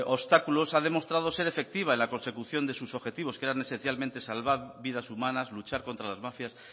obstáculos ha demostrado ser efectiva en la consecución de sus objetivos que era especialmente salvar vidas humanas luchar contra las mafias